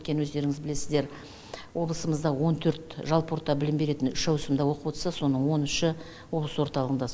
өйткені өздеріңіз білесіздер облысымызда он төрт жалпы орта білім беретін үш ауысымда оқып отса соның он үші облыс орталығында